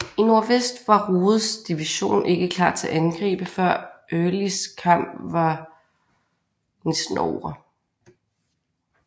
I nordvest var Rodes division ikke klar til at angribe før Earlys kamp var næsten ovre